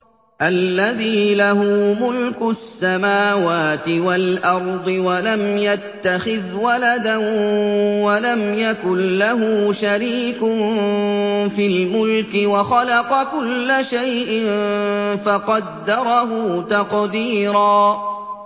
الَّذِي لَهُ مُلْكُ السَّمَاوَاتِ وَالْأَرْضِ وَلَمْ يَتَّخِذْ وَلَدًا وَلَمْ يَكُن لَّهُ شَرِيكٌ فِي الْمُلْكِ وَخَلَقَ كُلَّ شَيْءٍ فَقَدَّرَهُ تَقْدِيرًا